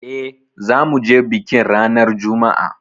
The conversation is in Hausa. Eh zamuje bikin ranar Juma'a